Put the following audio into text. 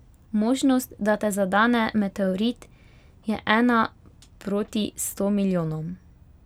Možnost, da te zadane meteorit je ena proti sto milijonom.